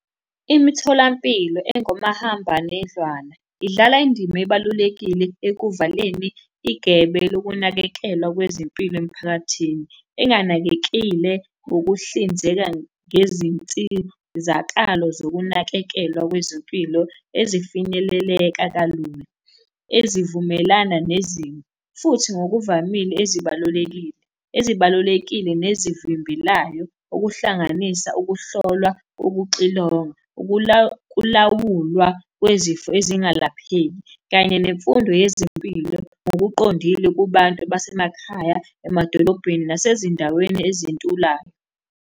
Imitholampilo engomahambanendlwana idlala indima ebalulekile ekuvaleni igebe lokunakekelwa kwezempilo emphakathini enganakekile ngokuhlinzeka ngezinsizakalo zokunakekelwa kwezempilo ezifinyeleleka kalula. Ezivumelana nezimo, futhi ngokuvamile ezibalulekile. Ezibalulekile nezivimbelayo, okuhlanganisa ukuhlolwa, ukuxilongwa, ukulawulwa kwezifo ezingalapheki, kanye nemfundo yezempilo ngokuqondile kubantu basemakhaya, emadolobheni, nasezindaweni ezintulayo.